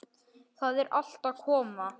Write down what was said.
Það er allt að koma.